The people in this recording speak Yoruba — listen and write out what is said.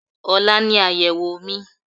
Ọ̀la ni àyèwò mi